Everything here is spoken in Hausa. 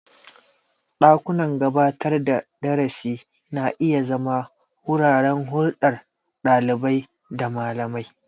Dakunan gabatar da darasi na iya zama wuraren hulɗar ɗalibai da malamai.